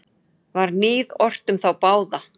Var níð ort um þá báða.